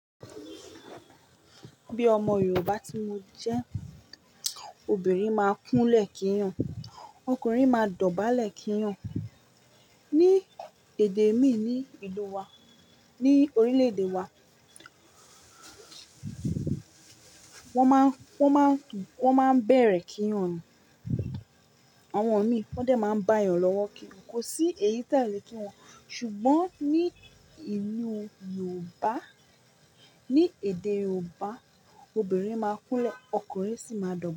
Bí ọmọ Yorùbá tí mo jẹ́, obìnrin máa kúnlẹ̀ kínyàn, ọkùnrin máa dọ̀bálẹ̀ kínyàn. Ni èdè mi ní ìlú wa, ní orílè-èdè wa, wọ́n máa ń, wọ́n máa ń bẹ̀rẹ̀ kínyàn. Àwọn mii wọ́n dẹ̀ máa ń báyan lọ́wọ́ kínyàn. Kò sí èyí tẹẹle ki wọ́n, ṣùgbọ́n ní ìlú Yorùbá, ní èdè Yorùbá, obìnrin máa kúnlẹ̀, ọkùnrin sì máa dọ̀bálẹ̀